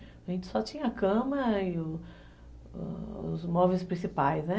A gente só tinha a cama e os móveis principais, né?